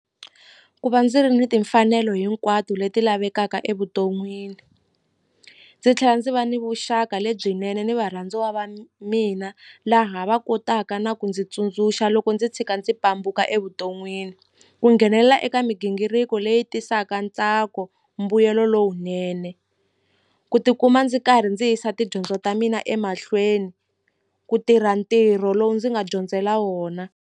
Ku va ndzi ri ni timfanelo hinkwato leti lavekaka evuton'wini ndzi tlhela ndzi va ni vuxaka lebyinene ni varhandziwa va mina laha va kotaka na ku ndzi tsundzuxa loko ndzi tshika ndzi pambuka evuton'wini ku nghenelela eka migingiriko leyi tisaka ntsako mbuyelo lowunene ku tikuma ndzi karhi ndzi yisa tidyondzo ta mina emahlweni ku tirha ntirho lowu ndzi nga dyondzela wona.